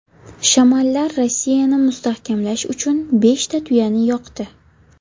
Shamanlar Rossiyani mustahkamlash uchun beshta tuyani yoqdi.